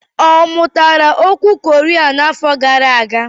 Ọ mụtara okwu Koria n'afọ gara aga?